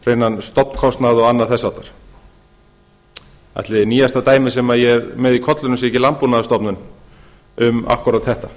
eins hreinan stofnkostnað og annað þess háttar ætli nýjasta dæmið sem ég er með í kollinum sé ekki landbúnaðarstofnun um einmitt þetta